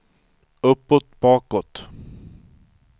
uppåt bakåt